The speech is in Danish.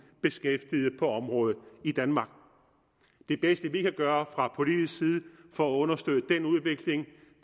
beskæftigede på området i danmark det bedste vi kan gøre fra politisk side for at understøtte den udvikling